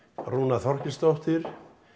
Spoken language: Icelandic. Rúna Þorgeirsdóttir